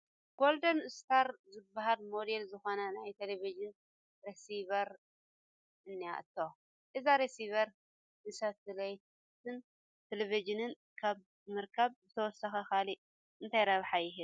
ጐልደን ስታር ዝበሃል ሞዴል ዝኾነት ናይ ቴለብዥን ረሲቨር እኔቶ፡፡ እዚ ረሲይቨር ንሳትላይትን ቴለብዥንን ካብ ምርኻብ ብተወሳኺ ካልእ እንታይ ረብሓ ይህብ?